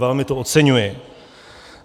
Velmi to oceňuji.